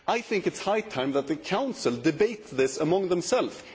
I think it is high time that the Council debates this amongst themselves